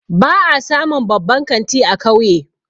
Ba a samun babban kanti a kauye